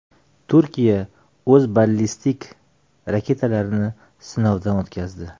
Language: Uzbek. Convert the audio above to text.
Turkiya o‘z ballistik raketalarini sinovdan o‘tkazdi.